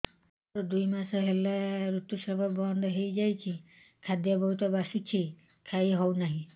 ମୋର ଦୁଇ ମାସ ହେଲା ଋତୁ ସ୍ରାବ ବନ୍ଦ ହେଇଯାଇଛି ଖାଦ୍ୟ ବହୁତ ବାସୁଛି ଖାଇ ହଉ ନାହିଁ